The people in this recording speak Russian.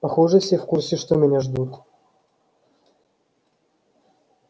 похоже все в курсе что меня ждут